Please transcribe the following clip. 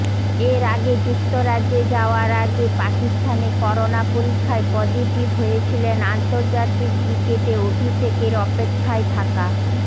এর আগে যু্ক্তরাজ্যে যাওয়ার আগে পাকিস্তানে করোনা পরীক্ষায় পজিটিভ হয়েছিলেন আন্তর্জাতিক ক্রিকেটে অভিষেকের অপেক্ষায় থাকা